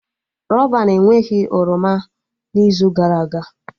Rọban enweghị oroma n'izu gara aga